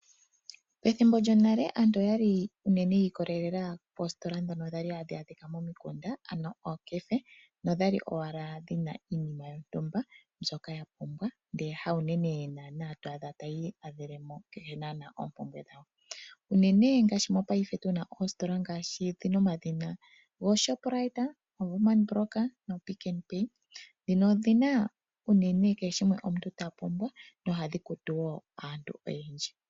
Pethimbo lyonale aantu oya li unene yi ikolelela moositola ndhoka hadhi adhika momikunda, ano ookefe. Nodha li owala dhi na iinima yontumba mbyoka yapumbwa ndele haunene naanaa to adha taya iyadhele mo kehe naanaa oompumbwe dhawo. Unene ngaashi mopaife tu na oositola ngaashi ooShoprite, ooWoerman brock nooPick 'n Pay, ndhino odhi na unene kehe shimwe omuntu ta kongo nohadhi kutu wo aantu oyendji.